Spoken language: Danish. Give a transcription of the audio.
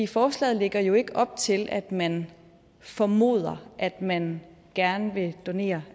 forslaget lægger jo ikke op til at man formoder at man gerne vil donere